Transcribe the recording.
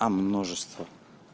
а множество